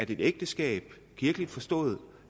ægteskab kirkeligt forstået